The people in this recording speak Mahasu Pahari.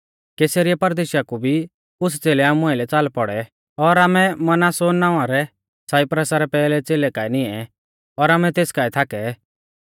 कैसरिया परदेशा कु भी कुछ़ च़ेलै आमु आइलै च़ाल पौड़ै और आमै मनासौन नावां रै साइप्रसा रै पैहलै च़ेलै रै काऐ निऐं और आमै तेसरै काऐ थाकै